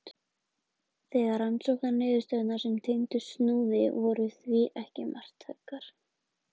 Þær rannsóknarniðurstöður sem tengdust Snúði voru því ekki marktækar.